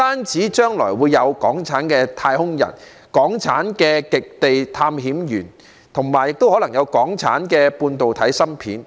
將來不但有港產的太空人、港產的極地探險員，還可能有港產的半導體芯片。